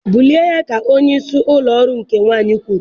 bulie ya ka onyeisi ụlọ ọrụ nke nwanyị kwuru